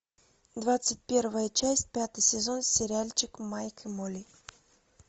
двадцать первая часть пятый сезон сериальчик майк и молли